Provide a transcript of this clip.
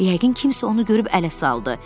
Yəqin kimsə onu görüb ələ saldı.